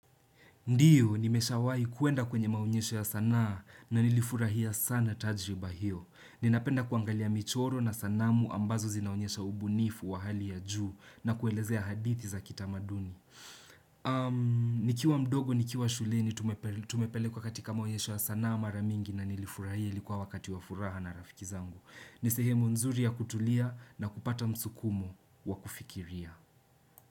Ndiyo, nimeshawahi kuenda kwenye maonyesho ya sanaa na nilifurahia sana tajriba hiyo. Ninapenda kuangalia michoro na sanamu ambazo zinaonyesha ubunifu wa hali ya juu na kuelezea hadithi za kitamaduni. Nikiwa mdogo, nikiwa shuleni, tumepelekwa katika maonyesho ya sanaa mara mingi na nilifurahia, ilikuwa wakati wa furaha na rafiki zangu. Ni sehemu nzuri ya kutulia na kupata msukumu wa kufikiria.